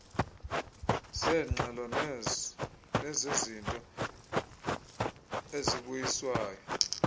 zeengxelo nezezinto ezibuyiswayo